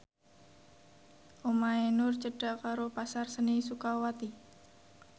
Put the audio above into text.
omahe Nur cedhak karo Pasar Seni Sukawati